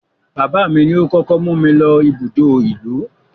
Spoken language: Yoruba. Bàbáà mi ni ó kókó mú mi lọ ibùdó ìlú.